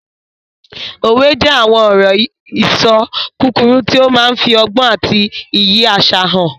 Òwe jẹ́ àwọn ọ̀rọ̀-ìṣọ kúkúrú tó máa n fi ọgbọ́n àti iyì àṣà hàn